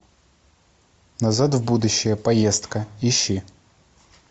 назад в будущее поездка ищи